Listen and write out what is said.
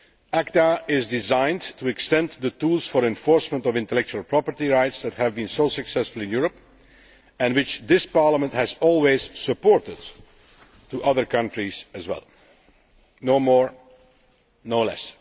ACTA is designed to extend the tools for enforcement of intellectual property rights that have been so successful in Europe and which this Parliament has always supported to other countries as well. No more. No less.